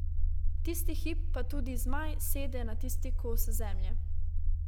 Tisti hip pa tudi zmaj sede na tisti kos zemlje.